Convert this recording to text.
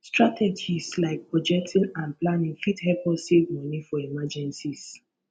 strategies like budgeting and planning fit help us save money for emergencies